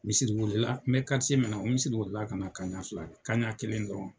Misiri welela n bɛ min na o misiri welela kana kaɲa fila kɛ kaɲa kelen dɔrɔn.